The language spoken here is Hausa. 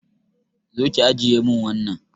Zo ki ajiye mun wannan